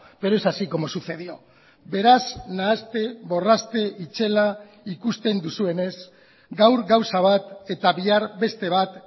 pero es así como sucedió beraz nahaste borraste itzela ikusten duzuenez gaur gauza bat eta bihar beste bat